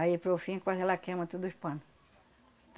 Aí, para o fim, quase ela queima tudo os pano.